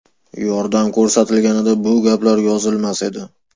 Yordam ko‘rsatilganida bu gaplar yozilmas edi.